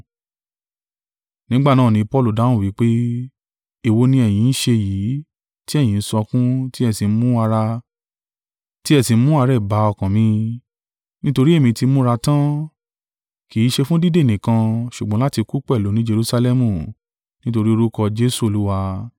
Nígbà náà ni Paulu dáhùn wí pé, “Èwo ni ẹ̀yin ń ṣe yìí, tí ẹ̀yin ń sọkún, tí ẹ sì ń mú àárẹ̀ bá ọkàn mi; nítorí èmí tí múra tan, kì í ṣe fún dídè nìkan, ṣùgbọ́n láti kú pẹ̀lú ni Jerusalẹmu, nítorí orúkọ Jesu Olúwa.”